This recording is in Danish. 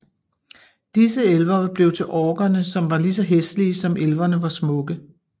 Disse elver blev til orkerne som var lige så hæslige som elverne var smukke